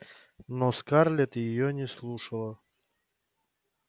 но скарлетт её не слушала